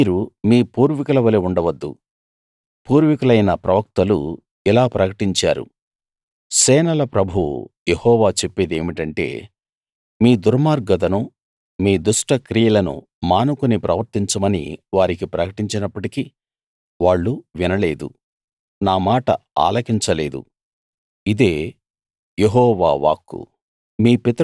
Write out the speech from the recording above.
మీరు మీ పూర్వీకుల వలే ఉండవద్దు పూర్వికులైన ప్రవక్తలు ఇలా ప్రకటించారు సేనల ప్రభువు యెహోవా చెప్పేదేమిటంటే మీ దుర్మార్గతను మీ దుష్ట క్రియలను మానుకుని ప్రవర్తించమని వారికి ప్రకటించినప్పటికీ వాళ్ళు వినలేదు నా మాట ఆలకించలేదు ఇదే యెహోవా వాక్కు